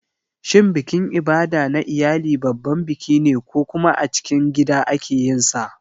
Shin bikin Ibada na iyali babban biki ne ko kuma a cikin gida ake yin sa?